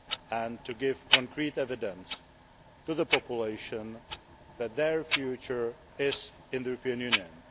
and to give concrete evidence to the population that their future is in the European Union.